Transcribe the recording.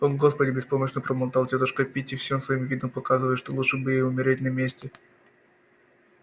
о господи беспомощно пробормотала тётушка питти всем своим видом показывая что лучше бы ей умереть на месте